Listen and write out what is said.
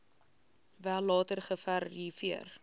wel later geverifieer